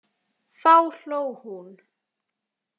Þá hló hún.